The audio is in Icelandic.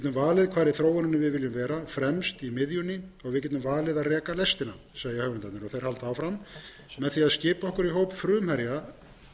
við getum valið að reka lestina segja höfundarnir þeir halda áfram með því að skipa okkur í hóp frumherja